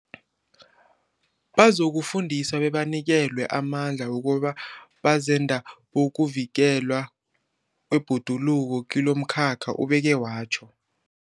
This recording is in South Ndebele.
Bazokufundiswa bebanikelwe amandla wokuba bazenda bokuvikelwa kwebhoduluko kilomkhakha, ubeke watjho.